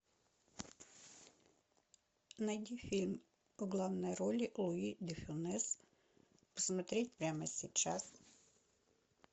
найди фильм в главной роли луи де фюнес смотреть прямо сейчас